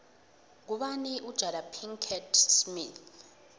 ngubani ujada pickett smith